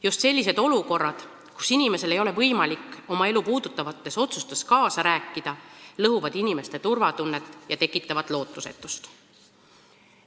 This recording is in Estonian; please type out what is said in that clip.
Just sellised olukorrad, kus inimesel ei ole võimalik oma elu puudutavates otsustes kaasa rääkida, lõhuvad inimeste turvatunnet ja tekitavad lootusetust.